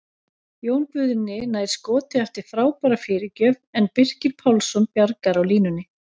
Jón Guðni nær skoti eftir frábæra fyrirgjöf en Birkir Pálsson bjargar á línunni!